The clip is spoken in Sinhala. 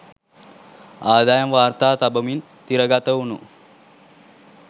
අදායම් වාර්තා තබමින් තිරගත වුනු